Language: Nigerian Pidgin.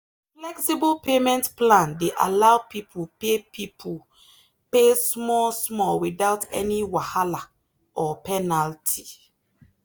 the flexible payment plan dey allow people pay people pay small small without any wahala or penalty.